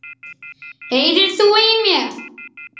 HEYRIR ÞÚ Í MÉR?!